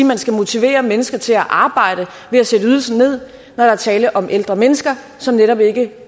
man skal motivere mennesker til at arbejde ved at sætte ydelsen ned når der er tale om ældre mennesker som netop ikke